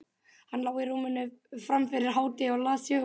Hann lá í rúminu fram yfir hádegi og las sögubækur.